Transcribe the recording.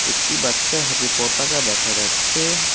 একটি বাচ্চার হাতে পতাকা দেখা যাচ্ছে।